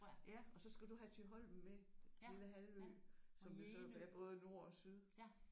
Ja og så skal du have Thyholm med. Den lille halvø som er så både nord og syd